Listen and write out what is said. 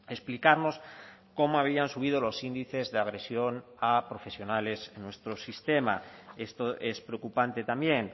explicarnos cómo habían subido los índices de agresión a profesionales en nuestro sistema esto es preocupante también